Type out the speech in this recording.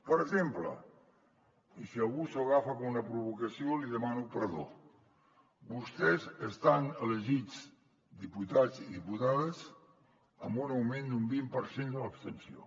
per exemple i si algú s’ho agafa com una provocació li demano perdó vostès estan elegits diputats i diputades amb un augment d’un vint per cent de l’abstenció